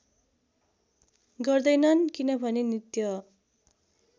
गर्दैनन् किनभने नित्य